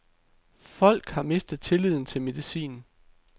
Folk har mistet tilliden til medicin.